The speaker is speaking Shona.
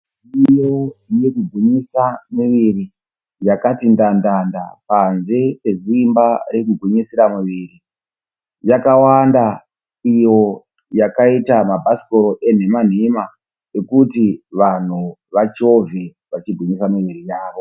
Midziyo yekugwinyisa miviri yakati ndandanda panze peziimba rekugwinyisira muviri. Yakawanda iyo yakaita mabhasikoro enhema nhema ekuti vanhu vachovhe vachigwinyisa miviri yavo.